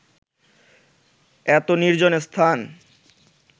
এত নির্জন স্থান